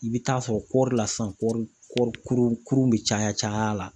I bi taa sɔrɔ kɔri la sisan kɔri kurun bi caya caya la